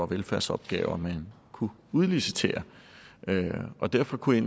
velfærdsopgaver man kunne udlicitere derfor kunne